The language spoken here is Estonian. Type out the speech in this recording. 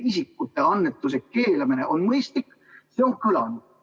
See on kõlanud.